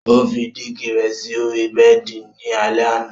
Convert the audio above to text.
Ó fí dígì rẹ sí ọ̀rí bẹẹ̀di ni alẹ̀ àna.